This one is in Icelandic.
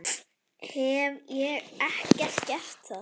Hef ég ekki gert það?